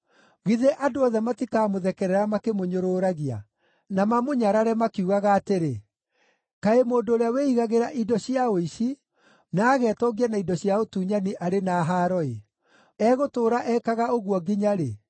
“Githĩ andũ othe matikamũthekerera makĩmũnyũrũragia, na mamũnyarare, makiugaga atĩrĩ, “ ‘Kaĩ mũndũ ũrĩa wĩigagĩra indo cia ũici, na agetongia na indo cia ũtunyani arĩ na haaro-ĩ! Egũtũũra ekaga ũguo nginya-rĩ?’